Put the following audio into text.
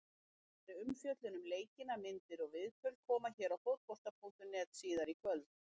Frekari umfjöllun um leikina, myndir og viðtöl, koma hér á Fótbolta.net síðar í kvöld.